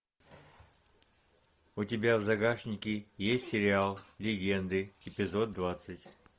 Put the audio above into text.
у тебя в загашнике есть сериал легенды эпизод двадцать